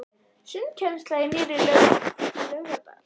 Sundkennsla í nýrri laug í Laugardal.